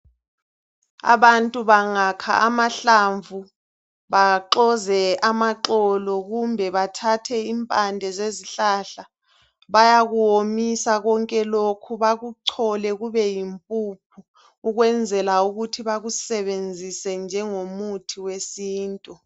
Abantu bangakha amahlamvu baxoze amaxolo kumbe bathathe impande zezihlala bayakuwomisa konke lokhu bakuchole kube yimpuphu ukwenzela ukuthi bakusebenzise njengo muthi wesintu